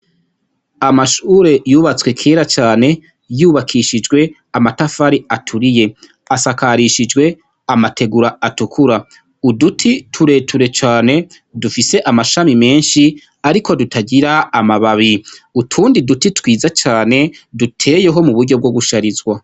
Amashure yubatswe kera cane, yubakishijwe amatafari aturiye, asakarishijwe amategura atukura. Uduti tureture cane dufise amashami menshi ariko tutagira amababi, utundi duti twiza cane duteyeho mu buryo bwo guharizwa.